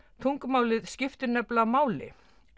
tungumálið skiptir nefnilega máli